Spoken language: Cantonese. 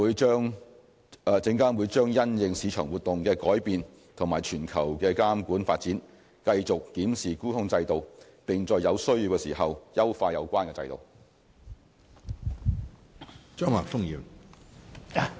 證監會將因應市場活動的改變及全球監管發展，繼續檢視沽空制度，並在有需要時優化有關制度。